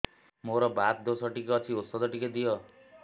ମୋର୍ ବାତ ଦୋଷ ଟିକେ ଅଛି ଔଷଧ ଟିକେ ଦିଅ